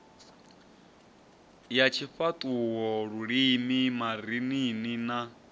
ya tshifhaṱuwo lulimi marinini na